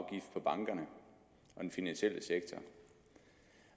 den finansielle sektor